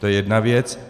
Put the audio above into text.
To je jedna věc.